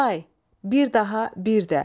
Day, bir daha, bir də.